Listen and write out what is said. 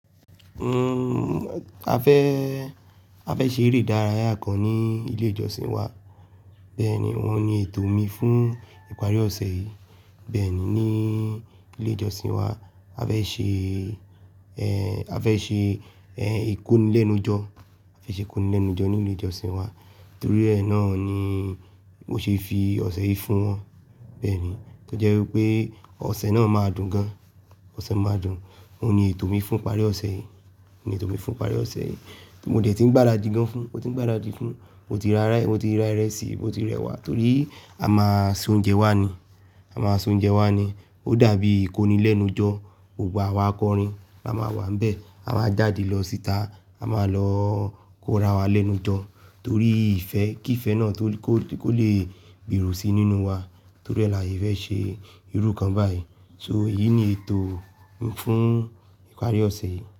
Uhm, a fẹ́, a fẹ́ ṣe eré ìdárayá kan ní ilé ìjọsìn wa. Bẹ́ẹ̀ni, wọ́n ní ètò mi fún ìparí ọ̀sẹ̀ yìí. Bẹ́ẹ̀ni, ní ilé ìjọsìn wa a fẹ́ ṣe, eh, a fẹ́ ṣe, eh, ìkónilẹ́nujọ́, a fẹ́ ṣe ìkónilẹ́nujọ́ ní ilé ìjọsìn wa. Torí ẹ náà ni mo ṣe fi ọ̀sẹ̀ yìí fún wọn. Bẹ́ẹ̀ni, tó jẹ́ wípé ọ̀sẹ̀ náà máa dùn gan. Ọ̀sẹ̀ máa dùn. Óun ní ètò mi fún ìparí ọ̀sẹ̀ yìí. Óun ní ètò mi fún ìparí ọ̀sẹ̀ yìí. Mo dẹ̀ tí ń gbáradì gan fún, mo ti ń gbáradì fún, mo ti ra rá, mo ti ra ìrẹsì, mo ti rẹwà torí a máa se oúnjẹ wa ni. A máa sun oúnjẹ wa ni. Ó dàbí ìkónilẹ́nujọ́. Gbogbo awa àkọ́rin la máa wà nbẹ̀. A máa jáde lọ síta, a máa lọ kó ra wa lẹ́nu jọ torí ìfẹ́, kí ìfẹ́ náà tó kó, kó lè gberò si nínú wa. Torí rẹ̀ la yẹ fẹ́ ṣe irú kan báyìí. So èyí ni ètò mi fún ìparí ọ̀sẹ̀ yìí.